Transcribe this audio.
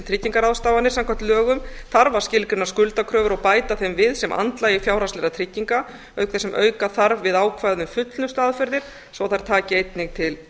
tryggingarráðstafanir samkvæmt lögum þarf að skilgreina skuldakröfur og bæta þeim við sem andlagi fjárhagslegra trygginga auk þess sem auka þarf við ákvæðið um fullnustuaðferðir svo að þær taki einnig til